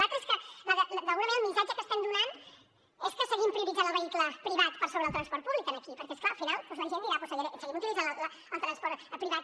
l’altra és que d’alguna manera el missatge que estem donant és que seguim prioritzant el vehicle privat per sobre del transport públic aquí perquè és clar al final doncs la gent dirà doncs seguim utilitzant el transport privat